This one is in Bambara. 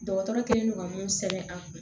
Dɔgɔtɔrɔ kɛlen don ka mun sɛbɛn a kun